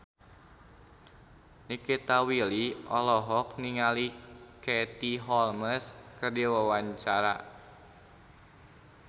Nikita Willy olohok ningali Katie Holmes keur diwawancara